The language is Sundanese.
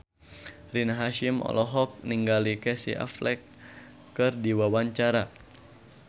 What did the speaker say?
Rina Hasyim olohok ningali Casey Affleck keur diwawancara